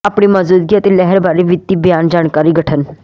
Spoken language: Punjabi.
ਆਪਣੀ ਮੌਜੂਦਗੀ ਅਤੇ ਲਹਿਰ ਬਾਰੇ ਵਿੱਤੀ ਬਿਆਨ ਜਾਣਕਾਰੀ ਗਠਨ